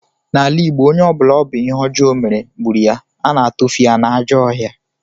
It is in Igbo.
N'ala Igbo, onye ọ bụla ọ bụ ihe ọjọọ ọ mere gburu ya, a na-atufu ya n'ajọ ọhịa